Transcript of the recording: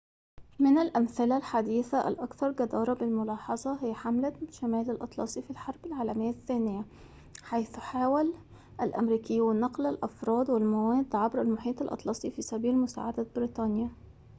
من الأمثلة الحديثة الأكثر جدارةً بالملاحظة هي حملة شمال الأطلسي في الحرب العالمية الثانية حيث حاول الأمريكيون نقل الأفراد والمواد عبر المحيط الأطلسي في سبيل مساعدة بريطانيا